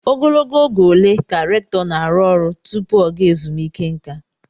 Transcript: Ogologo oge ole ka rèktọ na-arụ ọrụ tupu oge ezumike nká?